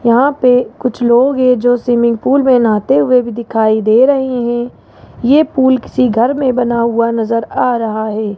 यहां पे कुछ लोग हैं जो स्विमिंग पूल में नहाते हुए भी दिखाई दे रही है ये पूल किसी घर में बना हुआ नजर आ रहा है।